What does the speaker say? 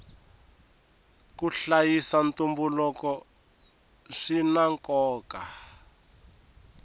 ku hlayisa ntumbuluko swina nkoka